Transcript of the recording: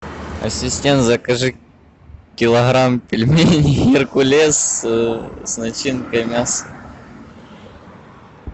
ассистент закажи килограмм пельменей геркулес с начинкой мясо